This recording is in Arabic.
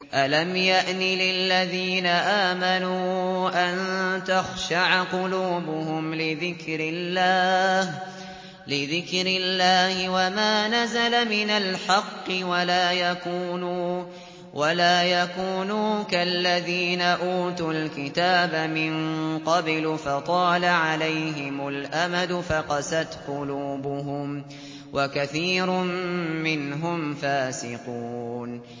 ۞ أَلَمْ يَأْنِ لِلَّذِينَ آمَنُوا أَن تَخْشَعَ قُلُوبُهُمْ لِذِكْرِ اللَّهِ وَمَا نَزَلَ مِنَ الْحَقِّ وَلَا يَكُونُوا كَالَّذِينَ أُوتُوا الْكِتَابَ مِن قَبْلُ فَطَالَ عَلَيْهِمُ الْأَمَدُ فَقَسَتْ قُلُوبُهُمْ ۖ وَكَثِيرٌ مِّنْهُمْ فَاسِقُونَ